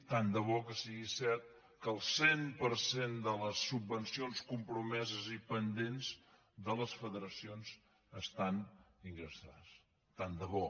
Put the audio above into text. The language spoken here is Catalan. tant de bo que sigui cert que el cent per cent de les subvencions compromeses i pendents de les federacions estan ingressades tant de bo